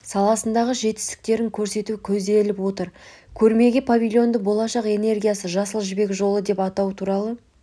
саласындағы жетістіктерін көрсету көзделіп отыр көрмедегі павильонды болашақ энергиясы жасыл жібек жолы деп атау туралы